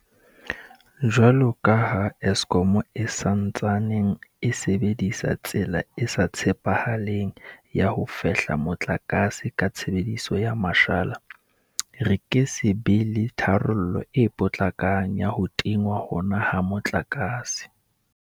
Jwalo ka ha Eskom e sa ntsaneng e sebedisa tsela e sa tshepahaleng ya ho fehla motlakase ka tshebediso ya mashala, re ke se be le tharollo e potlakang ya ho tingwa hona ha motlakase.